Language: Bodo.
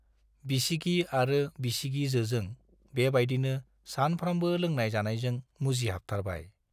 बिसिगि आरो बिसिगिजोजों बेबाइदिनो सानफ्रामबो लोनाय-जानायजों मुजिहाबथारबाय।